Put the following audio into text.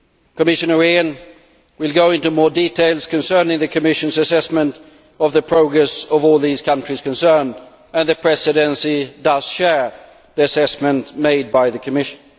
Commissioner Rehn will go into more details concerning the Commission's assessment of the progress of all these countries concerned, and the Presidency does share the assessment made by the Commission.